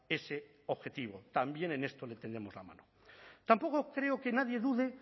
ese objetivo también en esto le tendemos la mano tampoco creo que nadie dude